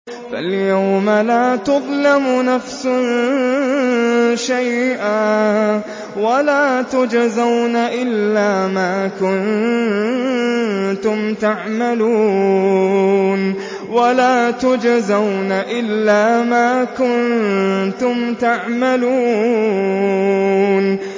فَالْيَوْمَ لَا تُظْلَمُ نَفْسٌ شَيْئًا وَلَا تُجْزَوْنَ إِلَّا مَا كُنتُمْ تَعْمَلُونَ